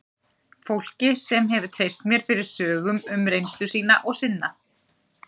Fólki sem hefur treyst mér fyrir sögum um reynslu sína og sinna.